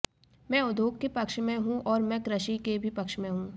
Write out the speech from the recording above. मैं उद्योग के पक्ष में हूं और मैं कृषि के भी पक्ष में हूं